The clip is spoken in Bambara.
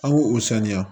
An k'o o saniya